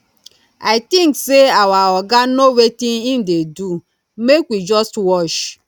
i think say our oga no wetin im dey do make we just watch